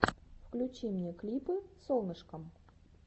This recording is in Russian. включи мне клипы солнышкам